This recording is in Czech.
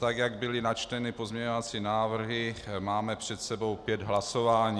Tak jak byly načteny pozměňovací návrhy, máme před sebou pět hlasování.